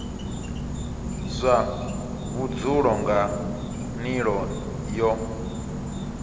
zwa vhudzulo nga nila yo